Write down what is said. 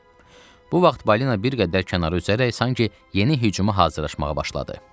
Bu vaxt balina bir qədər kənara üzərək sanki yeni hücuma hazırlaşmağa başladı.